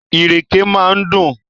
Ìrèké máa ń dùn.